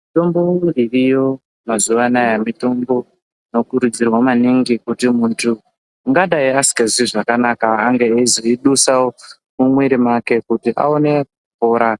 Mitombo dziriyo mazuva anawa mitombo dzinokurudzirwa maningi kuti muntu ungadai asinganzwi zvakanaka ange eizwe dusa mumwiri make kuti aone kupora